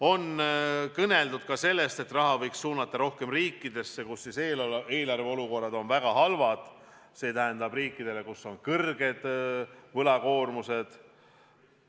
On kõneldud ka sellest, et rohkem raha võiks suunata nendesse riikidesse, kus eelarve olukord on väga halb – riikidesse, mille võlakoormus on suur.